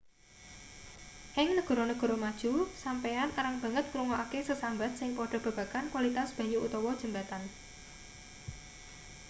ing negara-negara maju sampeyan arang banget ngrungokake sesambat sing padha babagan kwalitas banyu utawa jembatan